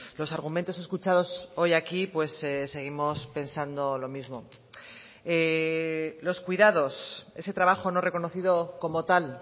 los argumentos escuchados hoy aquí seguimos pensando lo mismo los cuidados ese trabajo no reconocido como tal